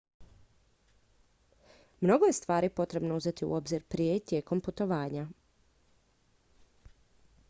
mnogo je stvari potrebno uzeti u obzir prije i tijekom putovanja